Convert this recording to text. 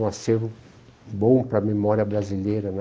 Um acervo bom para a memória brasileira, né?